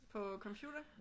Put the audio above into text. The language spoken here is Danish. På computer?